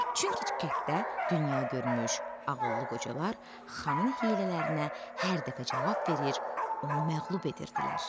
Çünki kənddə dünyagörmüş, ağıllı qocalar xanın hiylələrinə hər dəfə cavab verir, onu məğlub edirdilər.